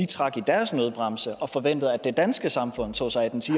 trække i deres nødbremse og forvente at det danske samfund tog sig af den ti